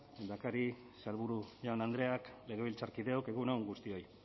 lehendakari sailburu jaun andreak legebiltzarkideok egun on guztioi